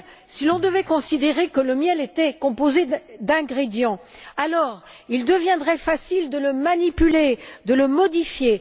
Si l'on devait considérer que le miel était composé d'ingrédients, il deviendrait alors facile de le manipuler, de le modifier.